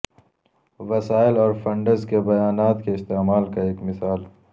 وسائل اور فنڈز کے بیانات کے استعمال کا ایک مثال